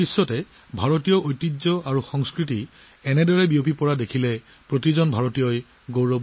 ভাৰতীয় ঐতিহ্য আৰু সংস্কৃতিৰ এনে সম্প্ৰসাৰণক বিশ্বজুৰি দেখা পালে প্ৰতিজন ভাৰতীয়ই গৌৰৱ অনুভৱ কৰে